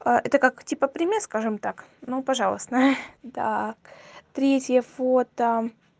а это как типа пример скажем так ну пожалуйста так третье фото